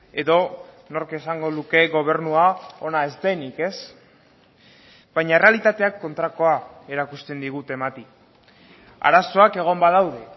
edo nork esango luke gobernua ona ez denik ez baina errealitateak kontrakoa erakusten digu temati arazoak egon badaude